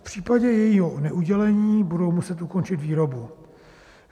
V případě jejího neudělení budou muset ukončit výrobu.